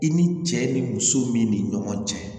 I ni cɛ ni muso min ni ɲɔgɔn cɛ